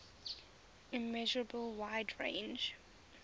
immeasurable wide range